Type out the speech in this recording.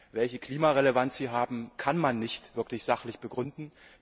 Welche Klimarelevanz sie haben, kann man nicht wirklich sachlich begründen.